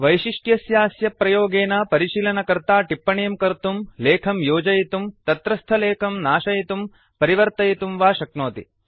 वैशिष्ट्यस्यास्य प्रयोगेन परिशीलनकर्ता टिप्पणीं कर्तुं लेखं योजयितुं तत्रस्थलेखं नाशयितुं परिवर्तयितुं वा शक्नोति